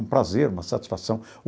Um prazer, uma satisfação.